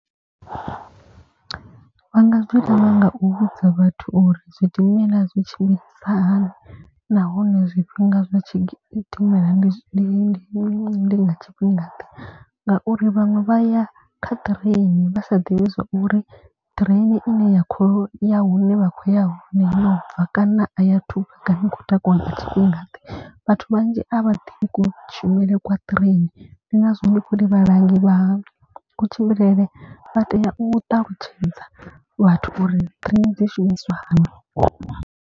Vha nga zwi ita na nga u vhudza vhathu uri zwidimela zwi tshimbilisa hani. Nahone zwifhinga zwa tshidimela ndi tshifhingade. Ngauri vhaṅwe vha ya kha ṱireini vha sa ḓivhi zwa uri train ine ya kho ya hune vha khou ya hone yo bva kana a ya athu kana i khou takuwa nga tshifhinga ḓe. Vhathu vhanzhi a vha ḓivhi kushumele kwa train ndi ngazwo ndi khori vhalangi vha kutshimbilele vha tea u ṱalutshedza vhathu uri train dzi shumisa hani.